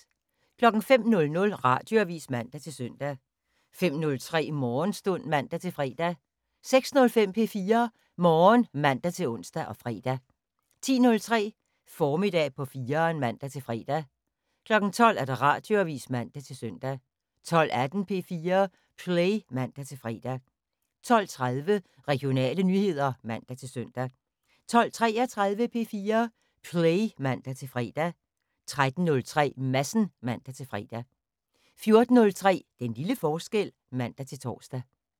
05:00: Radioavis (man-søn) 05:03: Morgenstund (man-fre) 06:05: P4 Morgen (man-ons og fre) 10:03: Formiddag på 4'eren (man-fre) 12:00: Radioavis (man-søn) 12:18: P4 Play (man-fre) 12:30: Regionale nyheder (man-søn) 12:33: P4 Play (man-fre) 13:03: Madsen (man-fre) 14:03: Den lille forskel (man-tor)